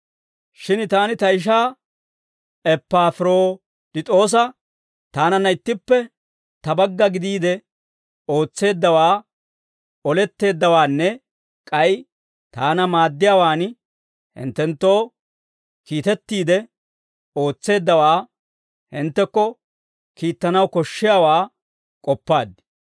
Shin taani ta ishaa Eppafiroditoosa, taananna ittippe ta bagga gidiide ootseeddawaa, oletteeddawaanne, k'ay taana maaddiyaawaan hinttenttoo kiitettiide ootseeddawaa hinttekko kiittanaw koshshiyaawaa k'oppaad.